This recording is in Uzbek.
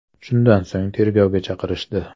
Shundan so‘ng tergovga chaqirishdi.